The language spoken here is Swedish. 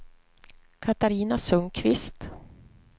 Catarina Sundqvist